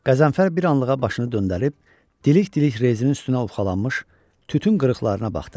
Qəzənfər bir anlığa başını döndərib, dilik-dilik rezin üstünə uxalanmış tütün qırıqlarına baxdı.